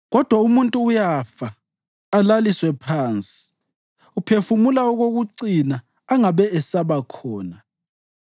Kodwa umuntu uyafa alaliswe phansi; uphefumula okokucina angabe esabakhona.